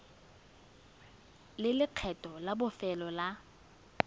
le lekgetho la bofelo la